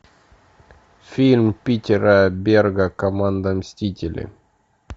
фильм питера берга команда мстители